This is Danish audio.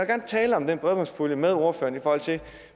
gerne tale om den bredbåndspulje med ordføreren i forhold til